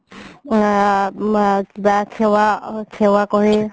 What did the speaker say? আ মা কিবা সেৱা আ কৰে